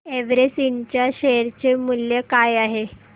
Everest इंड च्या share चे मूल्य काय आहे